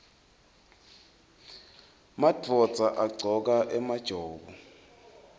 madvodza agcoka emajobo